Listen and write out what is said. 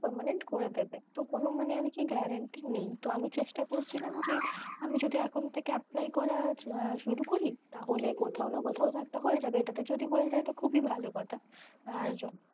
permanent করে দেবে তো কোনো মানে আরকি guarantee নেই তো আমি চেষ্টা করছিলাম যে আমি যদি এখন থেকে apply করা শুরু করি তাহলে কোথাও না কোথাও একটা হয়ে যাবে, এটা তে যদি হয়ে যায় তো খুবই ভালো কথা আর